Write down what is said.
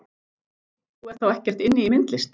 Þú ert þá ekkert inni í myndlist?